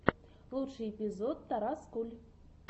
лучший эпизод тарас куль